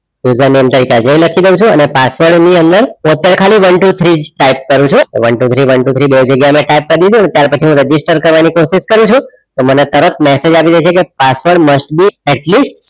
અંદર લખી દઉં છું અને પાસવર્ડ ની અંદર અત્યારે ખાલી one, two, three type કરું છું one, two, three, one, two, three બે જગ્યાએ type કરી દીધું ત્યાર પછી register કરવાની પ્રોસેસ કરું છું તો મને તરત message આવી જશે કે પાસવર્ડ must be atleast